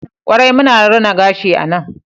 kwarai muna rina gashi a nan